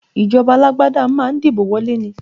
Ìjọba alágbádá ma ń dìbò wọlé ni